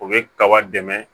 O bɛ kaba dɛmɛ